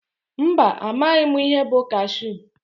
Mba amaghị mụ ihe bụ kashu.